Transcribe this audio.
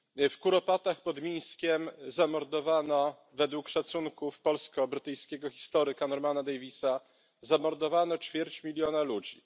W Kuropatach pod Mińskiem zamordowano według szacunków polsko brytyjskiego historyka Normana Daviesa ćwierć miliona ludzi.